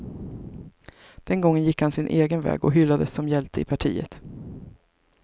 Den gången gick han sin egen väg och hyllades som hjälte i partiet.